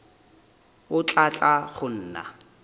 o tla tla go nna